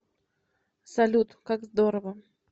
салют как здорово